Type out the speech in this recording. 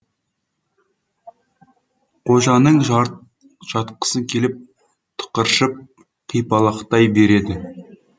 қожаның жатқысы келіп тықыршып қипалақтай береді